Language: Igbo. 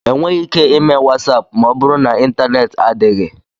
Enweghị ike ime WatsAapụ ma ọ bụrụ na ịntaneti adịghị.